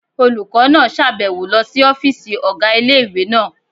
Olùkọ́ náà sàbẹ̀wo lọ sí ọ́fìsì ọ̀gá ilé-ìwé náà